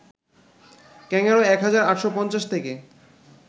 kangaroo ১ হাজার ৮৫০ থেকে